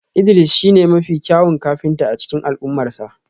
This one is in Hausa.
Idris shine mafi kyawun kafinta a cikin al'ummarsa